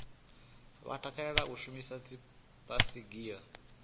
vha takalela u shumisa dzibaisigila